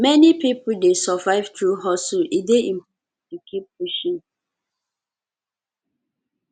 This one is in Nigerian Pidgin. many pipo dey survive through hustle e dey important to keep pushing